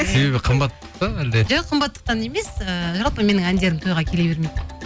себебі қымба па әлде жоқ қымбаттықтан емес ыыы жалпы менің әндерім тойға келе бермейді